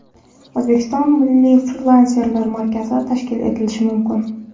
O‘zbekistonda Milliy frilanserlar markazi tashkil etilishi mumkin.